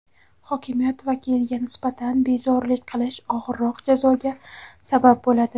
Hokimiyat vakiliga nisbatan bezorilik qilish og‘irroq jazoga sabab bo‘ladi.